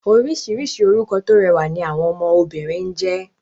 Orísìírísìí orúkọ tó rẹwà ni àwọn ọmọ obìnrin ń jẹ́